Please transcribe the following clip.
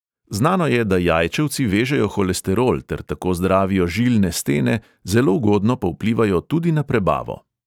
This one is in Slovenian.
Znano je, da jajčevci vežejo holesterol ter tako zdravijo žilne stene, zelo ugodno pa vplivajo tudi na prebavo.